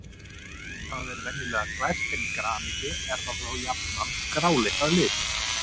Það er venjulega glært en í graníti er það þó jafnan gráleitt að lit.